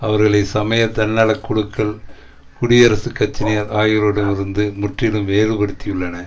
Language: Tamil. அவர்களை சமய தன்னலக் குழுக்கள் குடியரசுக் கட்சியினர் ஆகியோரிடம் இருந்து முற்றிலும் வேறுபடுத்தியுள்ளன